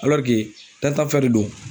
dantan fɛn de don.